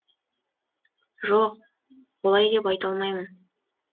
жоқ олай деп айта алмаймын